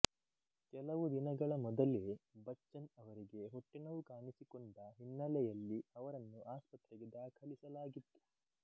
ಕೆಲವು ದಿನಗಳ ಮೊದಲೇ ಬಚ್ಚನ್ ಅವರಿಗೆ ಹೊಟ್ಟೆ ನೋವು ಕಾಣಿಸಿಕೊಂಡ ಹಿನ್ನೆಲೆಯಲ್ಲಿ ಅವರನ್ನು ಆಸ್ಪತ್ರೆಗೆ ದಾಖಲಿಸಲಾಗಿತ್ತು